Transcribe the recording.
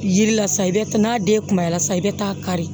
Yiri la sa i bɛ n'a den kunbaya sa i bɛ taa kari